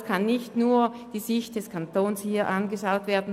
Es kann also nicht nur die Sicht des Kantons von uns berücksichtigt werden.